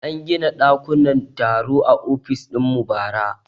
An gina dakunan taro a ofis dinmu bara